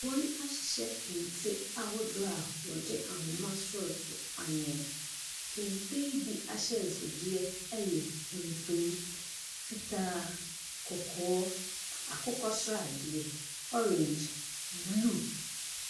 Wɔahyehyɛ kente a ahodoɔ a wɔde ahoma asɔɔto anwene. Kente yi bi ahyɛnsodeɛ yɛ tuntum, fitaa, kɔkɔɔ, akokɔ sradeɛ, orange, blue.